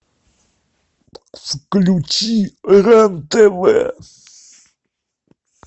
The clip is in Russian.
включи рен тв